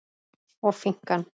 og finkan?